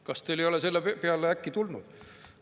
Kas te ei ole äkki selle peale tulnud?